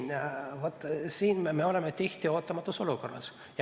Siin me oleme tihti ootamatus olukorras.